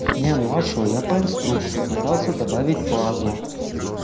не ну а что я по инструкции пытался добавить базу